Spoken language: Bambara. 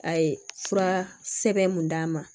A ye fura sɛbɛn mun d'a ma